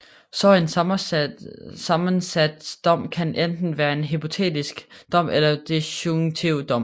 Så en sammensat dom kan enten være en hypotetisk dom eller en disjunktiv dom